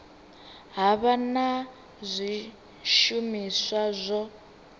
ha vha na zwishumiswa zwa